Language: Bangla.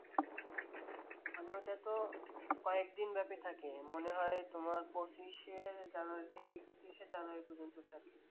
মানে ওটা তো কয়েকদিন ব্যাপী থাকে মনে হয় তোমার পঁচিশে জানুয়ারি থেকে একতিরিশশে জানুয়ারি পর্যন্ত থাকে।